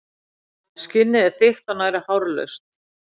Skinnið er þykkt og nærri hárlaust.